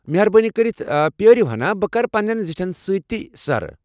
مہربٲنی كرِتھ پیٲرِو ہنا۔ بہٕ کرٕ پننین زٹھین سۭتۍ یہِ سرٕ ۔